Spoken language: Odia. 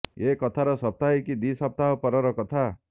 ଏ କଥାର ସପ୍ତାହେ କି ଦି ସପ୍ତାହ ପରର କଥା